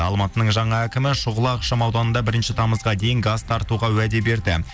алматының жаңа әкімі шұғыла ақшам ауданында бірінші тамызға дейін газ тартуға уәде берді